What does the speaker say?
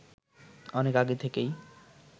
অনেক আগে থেকেই